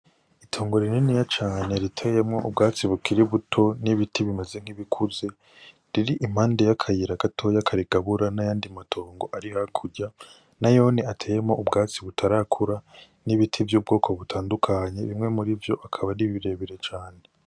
Itongo rininiya cane riteyemwo ubwatsi bukiri buto n'ibiti bimeze nkibi kuze riri impande ya kayira gato karigabura n'ayandi matongo ari hakurya nayone ateyemwo ubwatsi butarakura n'ibiti vy'ubwoko butandukanye bimwe mu rivyo akaba ari birebire cane.